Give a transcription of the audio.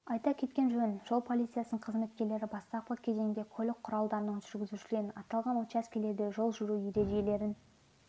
айта кеткен жөн жол полициясының қызметкерлері бастапқы кезеңде көлік құралдарының жүргізушілерін аталған учаскелерде жол жүру ережелерін